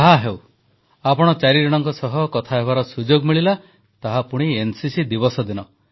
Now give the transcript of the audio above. ଯାହାହେଉ ଆପଣ ଚାରିଜଣଙ୍କ ସହ କଥାହେବାର ସୁଯୋଗ ମିଳିଲା ତାହା ପୁଣି ଏନସିସି ଦିବସ ଦିନ